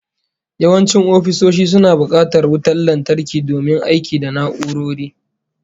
Yawancin ofisoshi suna bukatar wutar lantarki domin aiki da na'urori